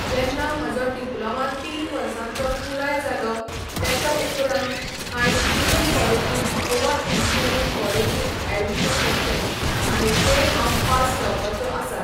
जेन्ना म्हाजो डिप्लोमा तीन वर्सांचो पुराय जालो तेच्या उपरान हायेंन डिग्री कॉलेजींत गोवा इंजिनीयरिंग कॉलेजींत ऍडमीशन घेतलें आनी तें हांव पास जावपाचो आसा